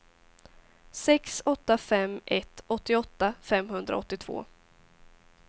sex åtta fem ett åttioåtta femhundraåttiotvå